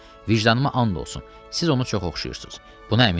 Vicdanıma and olsun, siz onu çox oxşayırsız.